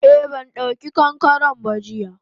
Eh bandauki kankaren ba jiya.